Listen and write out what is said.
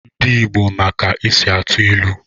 Ndi Igbo ma ka e si atụ ilu.